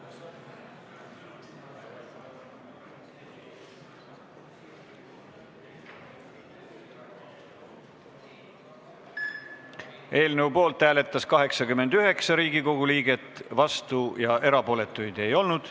Hääletustulemused Eelnõu poolt hääletas 89 Riigikogu liiget, vastuolijaid ja erapooletuid ei olnud.